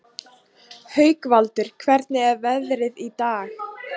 Haukvaldur, hvernig er veðrið í dag?